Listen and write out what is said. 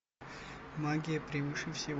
магия превыше всего